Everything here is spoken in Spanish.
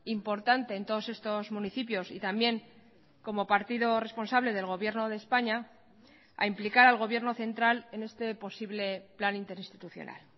importante en todos estos municipios y también como partido responsable del gobierno de españa a implicar al gobierno central en este posible plan interinstitucional